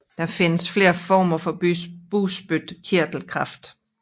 Der findes flere former for bugspytkirtelkræft